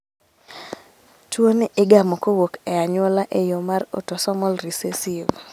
Tuoni igamo kowuok e anyuola e yo mar autosomal recessive